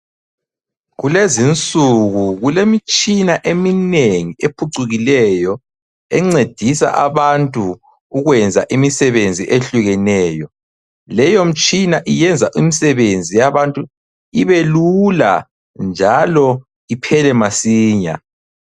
Kulezinsuku kulemitshina eminengi ephucukileyo encedisa abantu ukwenza imisebenzi ehlukeneyo. Leyo mtshina iyenza imsebenzi yabantu ibelula njalo iphele masinya.